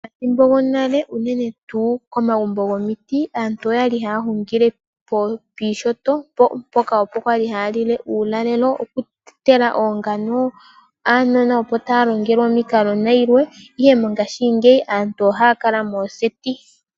Methimbo lyonale unene tu komagumbo gomiti aantu oyali hahungile pishoto poka opo kwali hayalile ulalelo, oku totela ongano , aanona opo yalongelwe omiinkalo nayilwe, ihe mongashi ngeyi aantu ohakala moseti.